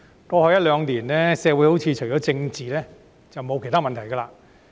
過去一兩年，社會好像除了政治，便沒有其他問題。